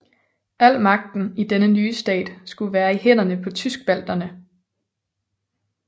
Al magten i denne nye stat skulle være i hænderne på tyskbalterne